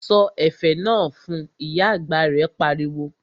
Sọ ẹ̀fẹ̀ náà fun', Ìyá àgbà rẹ̀ pariwo